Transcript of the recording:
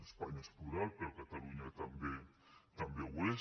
espanya és plural però catalunya també ho és